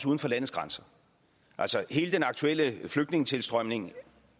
uden for landets grænser altså hele den aktuelle flygtningetilstrømning